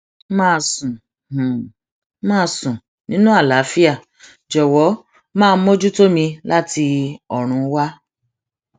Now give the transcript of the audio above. màá sùn màá sùn nínú àlàáfíà jọwọ máa mójútó mi láti ọrùn wa